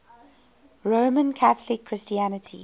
roman catholic christianity